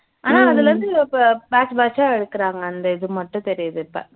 ஆனா அதுல இருந்து இப்போ batch batch ஆ எடுக்குறாங்க அந்த இது மட்டும் தெரியுது இப்போ